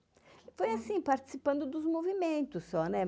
Foi assim, participando dos movimentos só, né?